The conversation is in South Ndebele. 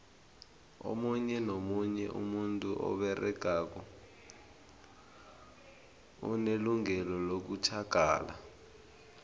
omunye nomunye umuntu oberegako unelungelo lokutjhagala